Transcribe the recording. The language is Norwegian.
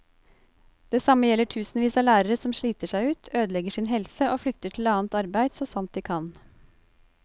Det samme gjelder tusenvis av lærere som sliter seg ut, ødelegger sin helse og flykter til annet arbeid så sant de kan.